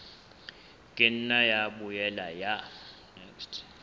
ka nna ya boela ya